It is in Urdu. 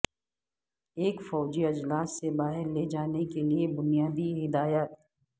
ایک فوری اجلاس سے باہر لے جانے کے لئے بنیادی ہدایات